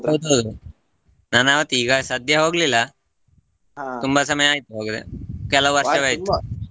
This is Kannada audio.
ಹೌದೌದು ನಾನ್ ಆವತ್ತು ಈಗ ಸದ್ಯ ಹೋಗ್ಲಿಲ್ಲಾ ಸಮಯ ಆಯ್ತು ಹೋಗದೆ .